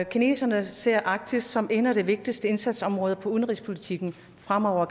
kineserne ser arktis som et af de vigtigste indsatsområder udenrigspolitikken fremover